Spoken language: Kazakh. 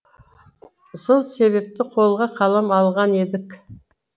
сол себепті қолға қалам алған едік